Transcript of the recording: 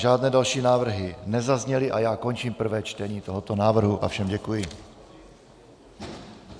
Žádné další návrhy nezazněly a já končím prvé čtení tohoto návrhu a všem děkuji.